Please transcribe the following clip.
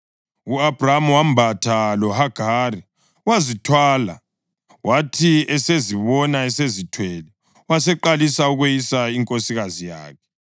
U-Abhrama wambatha loHagari, wazithwala. Wathi esezibona esezithwele, waseqalisa ukweyisa inkosikazi yakhe.